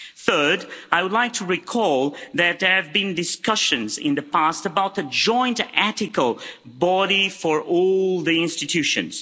Third, I would like to recall that there have been discussions in the past about a joint ethical body for all the institutions.